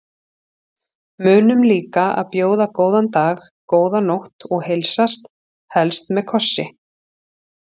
Munum líka að bjóða góðan dag, góða nótt og heilsast, helst með kossi.